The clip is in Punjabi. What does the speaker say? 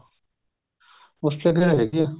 ਉੱਥੇ ਤਾਂ ਹੈਗੀ ਆ